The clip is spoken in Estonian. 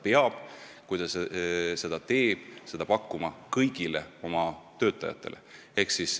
Kui ta midagi sellist teeb, siis peab ta võimalusi pakkuma kõigile oma töötajatele.